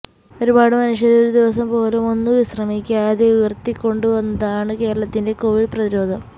ഒരു പാടു മനുഷ്യര് ഒരു ദിവസം പോലും ഒന്നു വിശ്രമിക്കാതെ ഉയര്ത്തിക്കൊണ്ടുവന്നതാണ് കേരളത്തിന്റെ കോവിഡ് പ്രതിരോധം